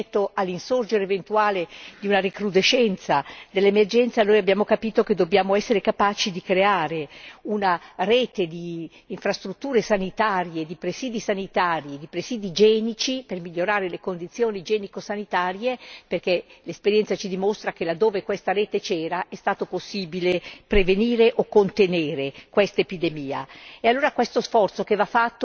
Anche se non va abbassata la guardia rispetto all'eventuale recrudescenza dell'emergenza, abbiamo capito che dobbiamo essere capaci di creare una rete di infrastrutture sanitarie, di presidi sanitari e di presidi igienici per migliorare le condizioni igienico sanitarie, perché l'esperienza ci dimostra che laddove questa rete c'era è stato possibile prevenire o contenere l'epidemia.